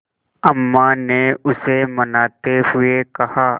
अम्मा ने उसे मनाते हुए कहा